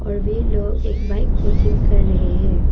और वे लोग एक बाइक को चेक कर रहे हैं।